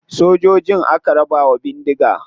Sojojin aka raba wa bindiga.